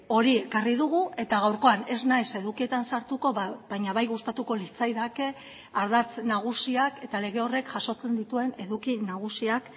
hori ekarri dugu eta gaurkoan ez naiz edukietan sartuko baina bai gustatuko litzaidake ardatz nagusiak eta lege horrek jasotzen dituen eduki nagusiak